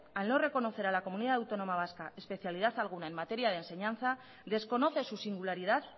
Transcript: al no reconocer a la comunidad autónoma vasca especialidad alguna en materia de enseñanza desconoce su singularidad